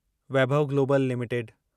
Vaibhav Global limited